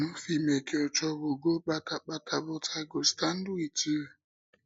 i no fit make your trouble go kpata kpata but i go stand wit you